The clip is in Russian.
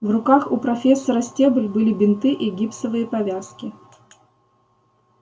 в руках у профессора стебль были бинты и гипсовые повязки